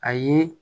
A ye